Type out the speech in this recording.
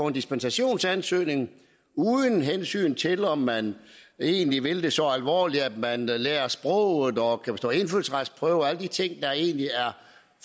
en dispensationsansøgning uden hensyn til om man egentlig vil det så alvorligt at man lærer sproget og kan bestå indfødsretsprøven og alle de ting der egentlig er